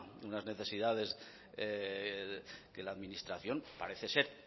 unas necesidades que la administración parece ser